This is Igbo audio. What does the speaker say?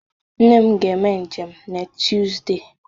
Nne m ga-eme njem n'Tuzdee.